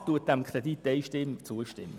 Die BaK stimmt diesem Kredit einstimmig zu.